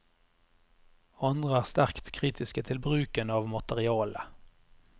Andre er sterkt kritiske til bruken av materialet.